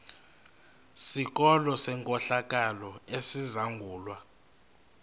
sikolo senkohlakalo esizangulwa